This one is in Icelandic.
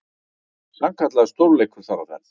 Sannkallaður stórleikur þar á ferð.